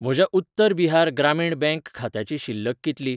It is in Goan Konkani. म्हज्या उत्तर बिहार ग्रामीण बँक खात्याची शिल्लक कितली?